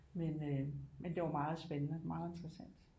Men øh det var meget spændende meget interessant